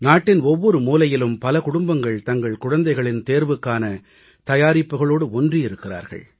நாட்டின் ஒவ்வொரு மூலையிலும் பல குடும்பங்கள் தங்கள் குழந்தைகளின் தேர்வுக்கான தயாரிப்புகளோடு ஒன்றியிருக்கிறார்கள்